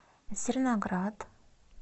зерноград